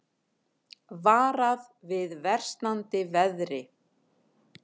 Varað við versnandi veðri